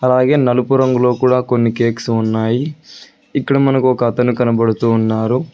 అలాగే నలుపు రంగులో కూడా కొన్ని కేక్స్ ఉన్నాయి ఇక్కడ మనకు ఒక అతను కనబడుతు ఉన్నారు.